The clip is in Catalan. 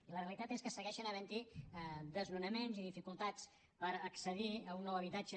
i la realitat és que segueixen havent hi desnonaments i dificultats per accedir a un nou habitatge